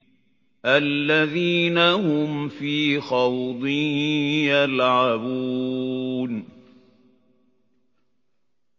الَّذِينَ هُمْ فِي خَوْضٍ يَلْعَبُونَ